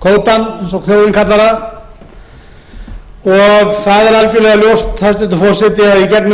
kvótann eins og þjóðin kallar það og það er algjörlega ljóst hæstvirtur forseti að